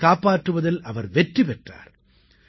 அவர்களைக் காப்பாற்றுவதில் அவர் வெற்றி பெற்றார்